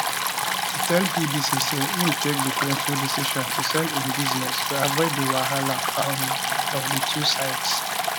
e tell bbc say im take di painful decision to sell im business to avoid di wahala um of di two sides